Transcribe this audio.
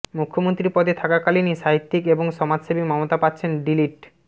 মুখ্যমন্ত্রী পদে থাকাকালীনই সাহিত্যিক এবং সমাজসেবী মমতা পাচ্ছেন ডি লিট